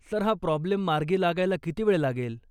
Sir, हा problem मार्गी लागायला किती वेळ लागेल?